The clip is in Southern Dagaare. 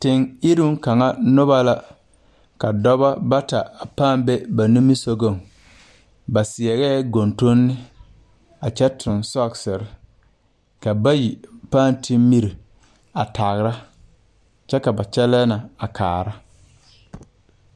Teŋ iruŋ kaŋa nobɔ la ka dɔbɔ bata a pãã be ba nimisugɔŋ ba seɛrɛɛ gontonne a kyɛ tuŋ sɔkserre ka bayi pãã te miri a tagra kyɛ ka ba kyɛlɛɛ na a kaara.